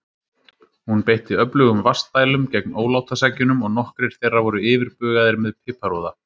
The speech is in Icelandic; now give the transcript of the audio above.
Hún beitti öflugum vatnsdælum gegn ólátaseggjunum og nokkrir þeirra voru yfirbugaðir með piparúða.